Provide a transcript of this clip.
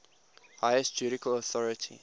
highest judicial authority